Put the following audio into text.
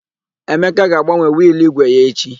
Emeka ga-agbanwe wịịlụ ígwè ya echi.